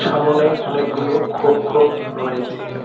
সামোনে অনেকগুলো খোপ খোপ রয়েছে।